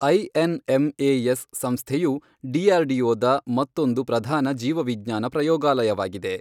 INMAS ಸಂಸ್ಥೆಯು DRDO ದ ಮತ್ತೊಂದು ಪ್ರಧಾನ ಜೀವ ವಿಜ್ಞಾನ ಪ್ರಯೋಗಾಲಯವಾಗಿದೆ.